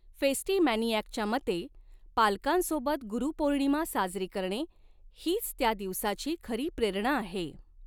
फेस्टिमॅनियाकच्या मते, पालकांसोबत गुरुपौर्णिमा साजरी करणे हीच त्या दिवसाची खरी प्रेरणा आहे.